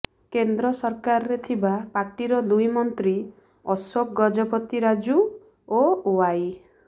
କେନ୍ଦ୍ର ସରକାରରେ ଥିବା ପାର୍ଟିର ଦୁଇ ମନ୍ତ୍ରୀ ଅଶୋକ ଗଜପତି ରାଜୁ ଓ ଓ୍ୱାଇ